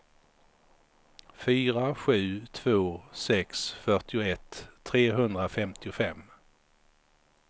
fyra sju två sex fyrtioett trehundrafemtiofem